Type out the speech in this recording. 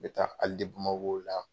Mɛ taa Hali de Bamakola.